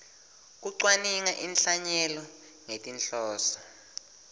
kucwaninga inhlanyelo ngetinhloso